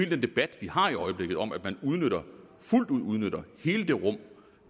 den debat vi har i øjeblikket om at man fuldt ud udnytter hele det rum